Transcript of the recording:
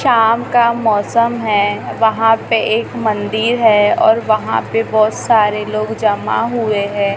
शाम का मौसम है वहां पे एक मंदिर है और वहां पे बहोत सारे लोग जमा हुए हैं।